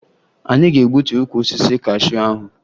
Anyị ga-egbutu ukwu osisi kashuu ahụ